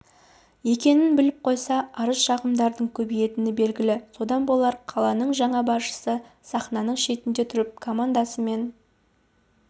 екенін біліп қойса арыз-шағымдардың көбейетіні белгілі содан болар қаланың жаңа басшысы сахнаның шетінде тұрып командасымен